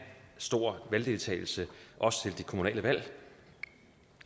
stor valgdeltagelse også til de kommunale valg